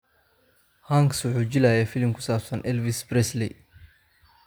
Hanks wuxuu jilay filim ku saabsan Elvis Presley.